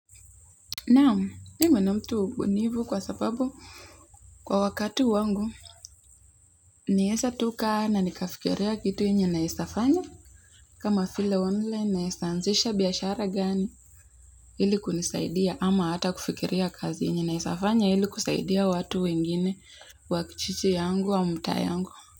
Naam mimi ni ktu mbunifu kwa sababu kwa wakati wangu naweza tu kaa na nikafikiria kitu yenye naweza fanya kama vile online naeza anzisha biashara gani ili kunisaidia ama hata kufikiria kazi yenye naeza fanya ili kusaidia watu wengine wa kijiji yangu au mtaa yangu.